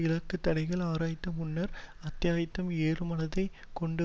இலக்கு தடைகளை ஆராயும் முன்னர் அத்தியாயம் ஏழுதீர்மானத்தை கொண்டு